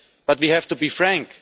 But we have to be frank.